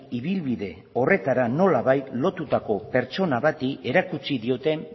ibilbide horretara nolabait lotutako pertsona bati erakutsi diote